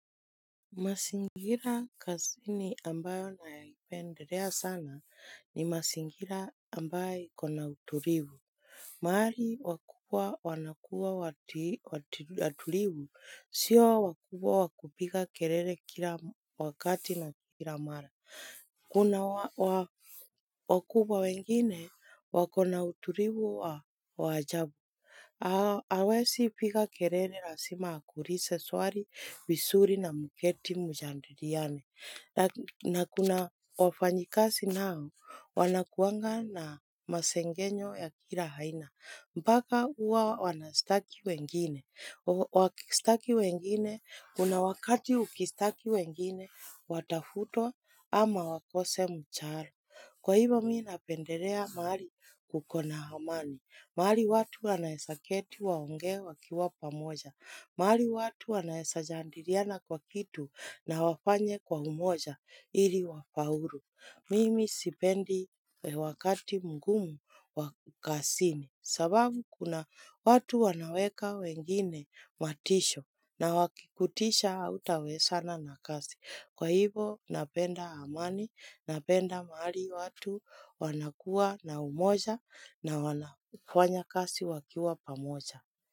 Maszingira kazini ambayo naipendelea sana ni mazingira ambayo iko na utulivu. Mahali wakubwa wanakuwa watulivu, sio wakubwa wa kupiga kelele kila wakati na kila mara. Kuna wakubwa wengine wakona utulivu wa wa ajabu. Hawezi piga kelele lazima akuulize swali vizurii na mketi mjadiliane. Na kuna wafanyikazi nao wanakuanga na masengenyo ya kila aina. Mpaka huwa wanashtaki wengine. Wakishtaki wengine, kuna wakati ukishtaki wengine, watafutwa ama wakose mshaara Kwa hivyo mimi napendelea mahali kuko na amani mahali watu wanaweza keti waongee wakiwa pamoja mahali watu wanaeza jadiliana kwa kitu na wafanye kwa umoja ili wafaulu Mimi sipendi wakati mgumu wa kazini sababu kuna watu wanaweka wengine matisho na wakikutisha hautawezana na kazi. Kwa hivo napenda amani, napenda mahali watu wanakua na umoja na wanafanya kasi wakiwa pamoja.